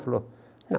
Ele falou, não.